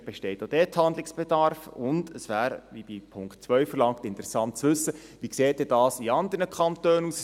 Vielleicht besteht auch dort Handlungsbedarf, und es wäre, wie in Punkt 2 verlangt, interessant, zu wissen, wie dies in anderen Kantonen aussieht.